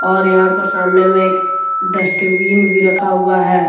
और यहां पर सामने में एक डस्टबिन भी रखा हुआ है।